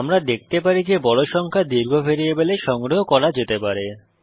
আমরা দেখতে পারি যে বড় সংখ্যা দীর্ঘ ভ্যারিয়েবলে সংগ্রহ করা যেতে পারে